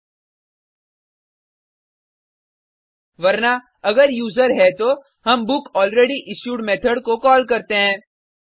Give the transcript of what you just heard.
वरना एल्से अगर यूज़र है तो हम बुकलरेडयिश्यूड मेथोड को कॉल करते हैं